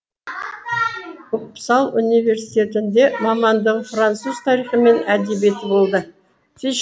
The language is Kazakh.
уппсал университетінде мамандығы француз тарихы мен әдебиеті болды